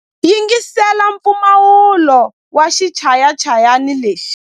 Yingisela mpfumawulo wa xichayachayani lexi.